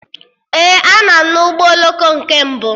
Ee, a nọ m na ụgbọ oloko nke mbụ